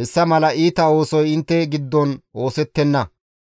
hessa mala iita oosoy intte giddon oosettenna.